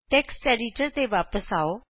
text editor ਤੇ ਵਾਪਸ ਆਉ